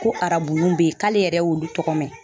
Ko arabunu beyi k'ale yɛrɛ y'olu tɔgɔ mɛn.